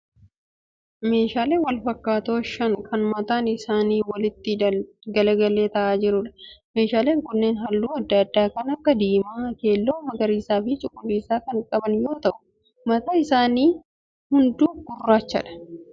Meeshaalee wal fakkaatoo shan kan mataan isaanii walitti galagalee ta'aa jiruudha. Meeshaaleen kunneen halluu adda addaa kan akka diimaa, keelloo, magariisaa fi cuquliisa kan qaban yoo ta'u mataan isaanii hunduu gurraacha.